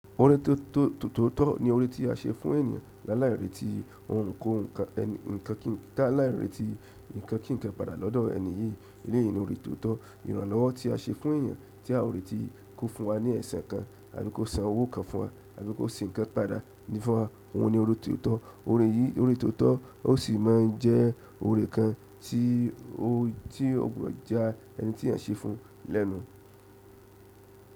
Ọ̀rẹ́ tótó ni ọ̀rẹ́ tí a ṣe fún ènìyàn lálàí retí ó ń kóun kan ǹkan kí nkan, lálàí retí ǹkan kí ǹkan padà lọ́dọ̀ ẹni yìí. Eléyìí ni ọ̀rẹ́ tótó. Ìrànlọ́wọ́ tí a ṣe fún èèyàn tí a ò rèti kó fún wa ni ẹ̀sẹ̀ kan àbí kó san owó kan fún wa àbí kó se ǹkan padà ní funwa ni ọ̀rẹ́ tótó. Ọ̀rẹ́ yìí, ọ̀rẹ́ tótó ó sì máa ń jẹ́ ọ̀rẹ́ kan tí o ti ògbòdo yá ẹni tí à ń ṣe fún lẹ́nu.